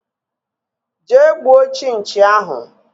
Jee gbuo chinchi ahụ!!!